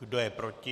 Kdo je proti?